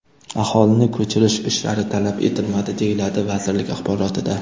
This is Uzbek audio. Aholini ko‘chirish ishlari talab etilmadi”, deyiladi vazirlik axborotida.